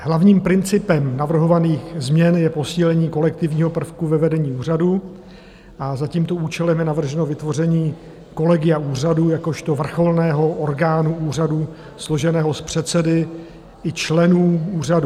Hlavním principem navrhovaných změn je posílení kolektivního prvku ve vedení úřadu a za tímto účelem je navrženo vytvoření kolegia úřadu jakožto vrcholného orgánu úřadu složeného z předsedy i členů úřadu.